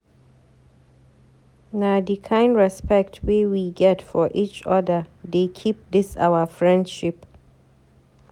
Na di kind respect wey we get for eachoda dey keep dis our friendship